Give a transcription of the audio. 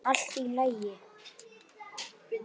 Allt í lagi!